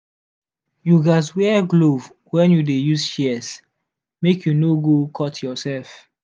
you gats wear glove when you dey use shears make you no go cut yourself.